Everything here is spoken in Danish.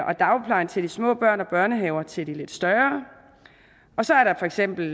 og dagpleje til de små børn og børnehave til de lidt større og så er der for eksempel